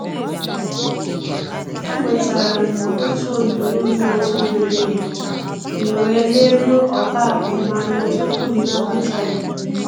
E nwetara m otu onyinye m na-atụghị anya ya, m wee leruo ogo akụ m anya tupu m nabata ya